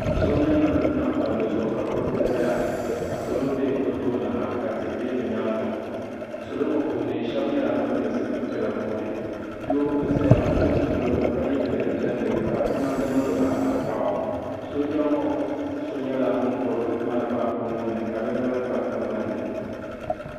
Sooja nima n tam palli zuɣu ka kuriti zaya ka salo be bɛ tooni ha ka tihi be bɛ nyaanga salo ŋɔ puuni sheba nyɛla ban be sitiri piɛla puuni doo n zaya m pili zipiligu ka ye daliya piɛlli ka o namda niŋ zaɣa tankpaɣu sooja ŋɔ so nyɛla ŋun gbibi marafa o nuuni ka di noli kpa tingbanni.